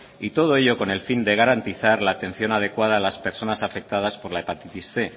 y todo ello con el fin de garantizar la atención adecuada a las personas afectadas por la hepatitis cien